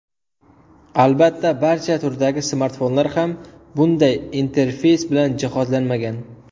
Albatta barcha turdagi smartfonlar ham bunday interfeys bilan jihozlanmagan.